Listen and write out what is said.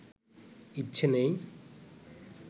ইচ্ছে নেই